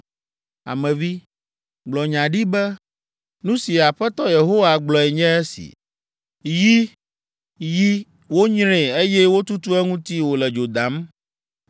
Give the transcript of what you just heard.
“Ame vi, gblɔ nya ɖi be ‘Nu si Aƒetɔ Yehowa gblɔe nye esi: “ ‘Yi, yi, wonyree eye wotutu eŋuti wòle dzo dam.